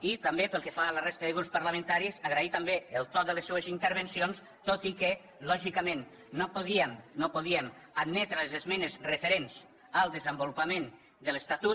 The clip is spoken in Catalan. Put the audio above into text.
i també pel que fa a la resta de grups parlamentaris agrair també el to de les seues intervencions tot i que lògicament no podíem admetre les esmenes referents al desenvolupament de l’estatut